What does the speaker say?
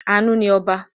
Àánú ni ọba.